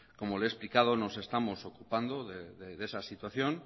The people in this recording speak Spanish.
como le he explicado nos estamos ocupando de esa situación